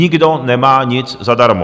Nikdo nemá nic zadarmo.